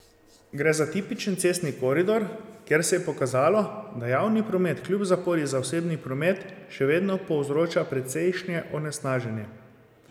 Gre za tipičen cestni koridor, kjer se je pokazalo, da javni promet kljub zapori za osebni promet še vedno povzroča precejšnje onesnaženje.